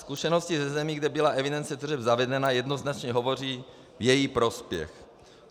Zkušenosti ze zemí, kde byla evidence tržeb zavedena, jednoznačně hovoří v jejich prospěch.